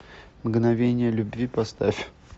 мгновение любви поставь